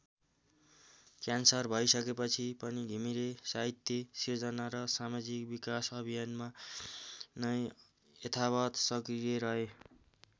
Cancer भइसकेपछि पनि घिमिरे साहित्यिक सिर्जना र समाजिक विकास अभियानमा नै यथावत सक्रिय रहे।